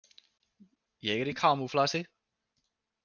Ég er í kamúflasi.